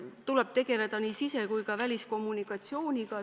Tuleb tegeleda nii sise- kui ka väliskommunikatsiooniga.